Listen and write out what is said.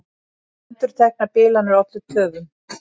Endurteknar bilanir ollu töf